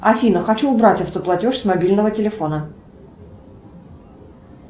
афина хочу убрать автоплатеж с мобильного телефона